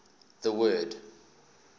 the word